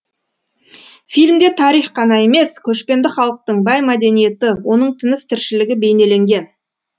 фильмде тарих қана емес көшпенді халықтың бай мәдениеті оның тыныс тіршілігі бейнеленген